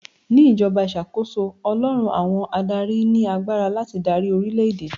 Ní ìjọba ìṣàkóso, Ọlọ́run àwọn adáári ni agbára láti darí orílè èdè.